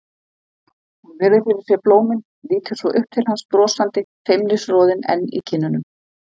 Hún virðir fyrir sér blómin, lítur svo upp til hans brosandi, feimnisroðinn enn í kinnunum.